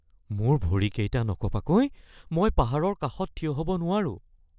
মোৰ ভৰিকেইটা নকঁপাকৈ মই পাহাৰৰ কাষত থিয় হ’ব নোৱাৰোঁ